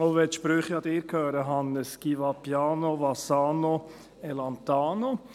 Auch wenn die Sprüche Ihnen gehören, Hannes Zaugg: Chi va piano, va sano e lontano.